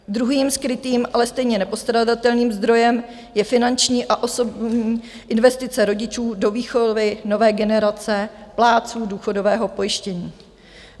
Druhým skrytým, ale stejně nepostradatelným, zdrojem je finanční a osobní investice rodičů do výchovy nové generace plátců důchodového pojištění.